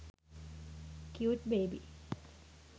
cute baby